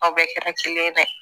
Aw bɛɛ kɛra kelen ye dɛ